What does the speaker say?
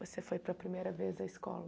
Você foi para primeira vez à escola?